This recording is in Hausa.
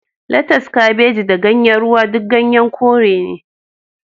Latas, Kabeji da Ganyen Ruwa duk ganyen kore ne